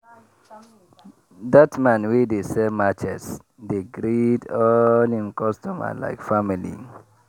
that man wey dey sell matches dey greet all him customer like family.